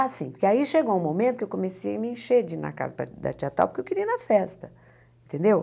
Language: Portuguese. Ah, sim, porque aí chegou um momento que eu comecei a me encher de ir na casa da da tia tal, porque eu queria ir na festa, entendeu?